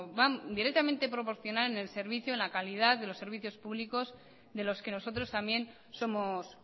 van directamente proporcional en la calidad de los servicios públicos de los que nosotros también somos